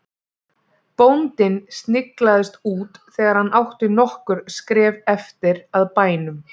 Bóndinn sniglaðist út þegar hann átti nokkur skref eftir að bænum.